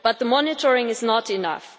But monitoring is not enough.